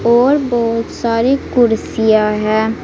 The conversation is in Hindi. और बहुत सारी कुर्सियां हैं।